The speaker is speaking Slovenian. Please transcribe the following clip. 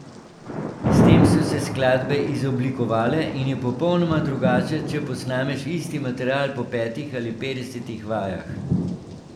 S tem so se skladbe izoblikovale in je popolnoma drugače, če posnameš isti material po petih ali petdesetih vajah.